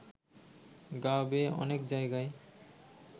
গা বেয়ে অনেক জায়গায়